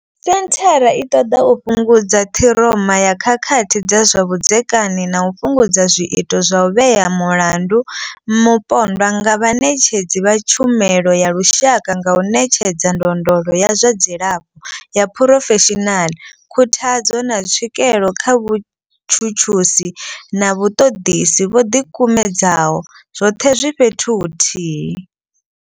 Senthara i ṱoḓa u fhungudza ṱhiroma ya khakhathi dza zwa vhudzekani na u fhungudza zwiito zwa u vhea mulandu mupondwa nga vhaṋetshedzi vha tshumelo ya lushaka nga u ṋetshedza ndondolo ya zwa dzilafho ya phurofeshinaḽa, khuthadzo, na tswikelo kha vhatshutshisi na vhaṱoḓisi vho ḓi kumedzaho, zwoṱhe zwi fhethu huthihi.